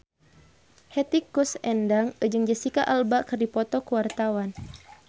Hetty Koes Endang jeung Jesicca Alba keur dipoto ku wartawan